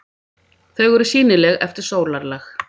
Þau eru sýnileg eftir sólarlag.